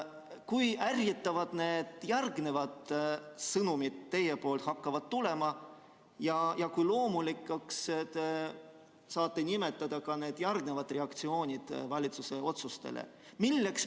Kui ärritavad järgmised sõnumid teilt hakkavad tulema ja kui loomulikuks te saate pidada ka järgmisi reaktsioone valitsuse otsustele?